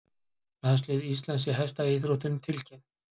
Landslið Íslands í hestaíþróttum tilkynnt